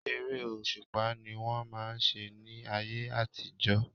Eré òṣùpá ni wọ́n máà ń ṣe ní ayé àtijọ́.